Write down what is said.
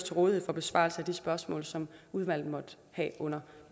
til rådighed for besvarelse af de spørgsmål som udvalget måtte have under